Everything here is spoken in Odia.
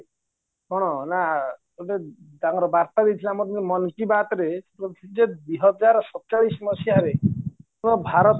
କ'ଣ ନା ଗୋଟେ ତାଙ୍କର ବାର୍ତା ବିଧି ଆମର ଯେ ଦୁଇ ହଜାର ସତଚାଲିସି ମସିହାରେ ଆମ ଭାରତ